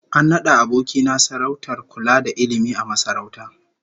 An nada aboki na sarautar kula da ilmi a masarauta